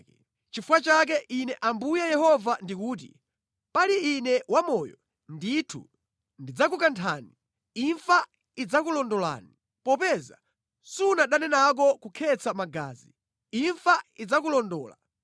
Nʼchifukwa chake Ine Ambuye Yehova ndikuti: Pali Ine wamoyo, ndithu ndidzakukanthani. Imfa idzakulondolani. Popeza sunadane nako kukhetsa magazi, imfa idzakulondola.